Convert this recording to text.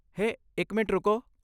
ਹੇ, ਇੱਕ ਮਿੰਟ ਰੁਕੋ।